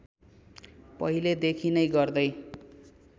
पहिलेदेखि नै गर्दै